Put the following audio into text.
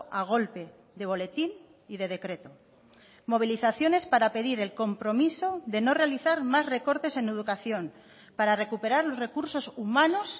a golpe de boletín y de decreto movilizaciones para pedir el compromiso de no realizar más recortes en educación para recuperar los recursos humanos